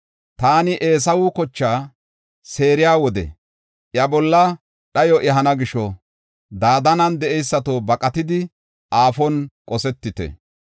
Taani Eesawe kochaa seeriya wode iya bolla dhayo ehana gisho, Dadaanen de7eysato, baqatidi aafon qosetite.